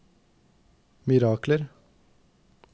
mirakler